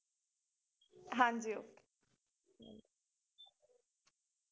ਹਾਂਜੀ okay